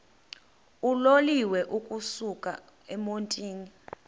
uloliwe ukusuk emontini